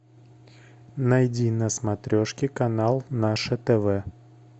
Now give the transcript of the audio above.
найди на смотрешке канал наше тв